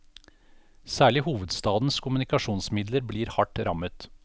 Særlig hovedstadens kommunikasjonsmidler blir hardt rammet.